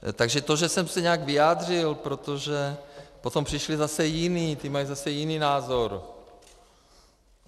Takže to, že jsem se nějak vyjádřil, protože potom přišli zase jiní, ti mají zase jiný názor.